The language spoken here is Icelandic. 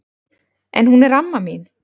En hún er amma mín!